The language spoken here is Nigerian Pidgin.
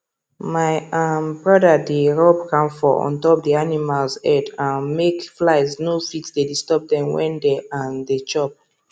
my um brother dey rub camphor on top d animals head um make flies no fit dey disturb dem when dem um dey chop